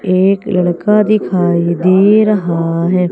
एक लड़का दिखाई दे रहा है।